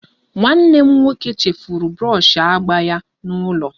Nwanne m nwoke chefuru brọshi agba ya n'ụlọ